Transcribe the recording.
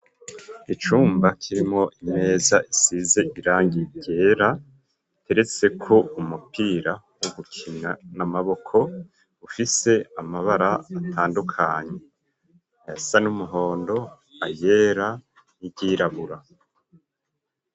Icumba kirimwo imeza isize irangi ryera, igeretseko umupira wo gukina n'amaboko ,ufise amabara atandukanye, ayasa n'umuhondo ayera n'iryirabura.